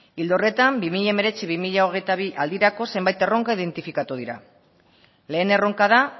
ildo horretan bi mila hemeretzi bi mila hogeita bi aldirako zenbait erronka identifikatu dira lehen erronka da